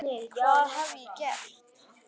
hvað hef ég gert?